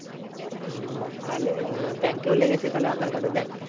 হম তালে আহ bank এও লেগেছে তালে aadhar card দেখ